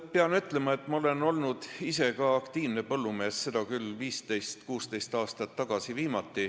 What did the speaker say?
Pean ütlema, et ma olen olnud ise ka aktiivne põllumees, seda küll viimati 15–16 aastat tagasi.